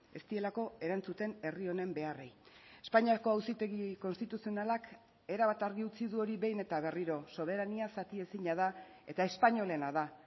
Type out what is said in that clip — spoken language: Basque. ez dielako erantzuten herri honen beharrei espainiako auzitegi konstituzionalak erabat argi utzi du hori behin eta berriro soberania zatiezina da eta espainolena da